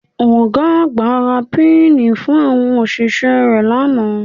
Ọ̀ga àgbà ra píìnì fún àwọn òṣìṣẹ́ rẹ̀ lánàá